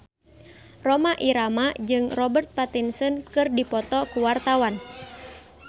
Rhoma Irama jeung Robert Pattinson keur dipoto ku wartawan